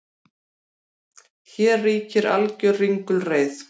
Hér ríkir alger ringulreið